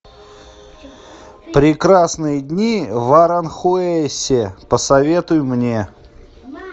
прекрасные дни в аранхуэсе посоветуй мне